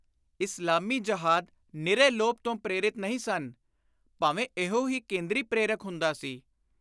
ਇਸਲਾਮੀ ਜਹਾਦ ਨਿਰੇ ਲੋਭ ਤੋਂ ਪ੍ਰੇਰਿਤ ਨਹੀਂ ਸਨ, ਭਾਵੇਂ ਇਹੋ ਹੀ ਕੇਂਦਰੀ ਪ੍ਰੇਰਕ ਹੁੰਦਾ ਸੀ।